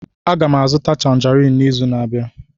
Aga m azụta Tanjerin n'izu na-abịa.